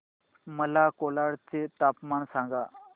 मला कोलाड चे तापमान सांगा